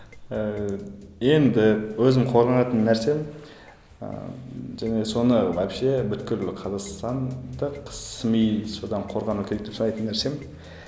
ііі енді өзім қорғанатын нәрсем ыыы және соны вообще бүкіл қазақстандық сми содан қорғану керек деп санайтын нәрсем